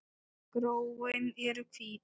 Gróin eru hvít.